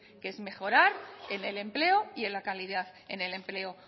que es mejorar en el empleo y en la calidad del empleo